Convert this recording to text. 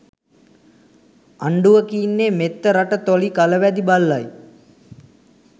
අන්ඩුව කියින්නෙ මෙත්න රට තොයි කලවැදි බල්ලයි